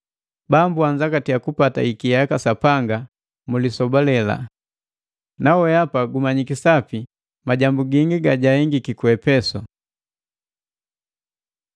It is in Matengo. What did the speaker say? Bambu anzangatiya kupata ikia jaka Sapanga mu lisoba lela! Nawehapa gumanyiki sapi gingi gajahengila ku Epesu.